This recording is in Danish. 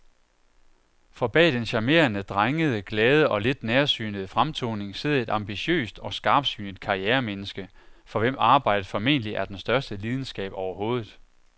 For bag den charmerende, drengede, glade og lidt nærsynede fremtoning sidder et ambitiøst og skarpsynet karrieremenneske, for hvem arbejdet formentlig er den største lidenskab overhovedet.